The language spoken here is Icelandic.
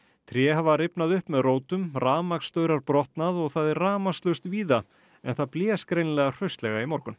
tré hafa rifnað upp með rótum rafmagnsstaurar brotnað og það er rafmagnslaust víða en það blés greinilega hraustlega í morgun